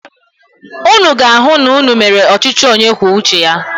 Ụnụ ga-ahụ na ụnụ mere ọchịchị onye kwuo uche ya.